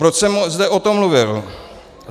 Proč jsem zde o tom mluvil?